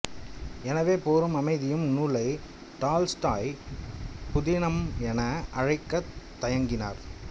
எனவே போரும் அமைதியும் நூலை டால்ஸ்டாய் புதினம் என அழைக்கத் தயங்கினார்